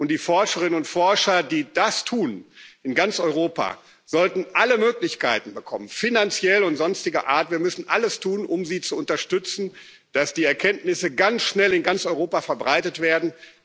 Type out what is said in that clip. Ansätze. Die Forscherinnen und Forscher, die das tun in ganz Europa sollten, alle Möglichkeiten finanzieller und sonstiger Art bekommen. Wir müssen alles tun, um sie zu unterstützen, damit die Erkenntnisse ganz schnell in ganz Europa verbreitet